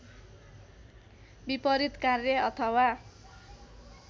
विपरित कार्य अथवा